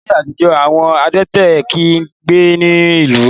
Láyé àtijó, àwọn adẹ́tẹ̀ kì ń gbé inú ìlú.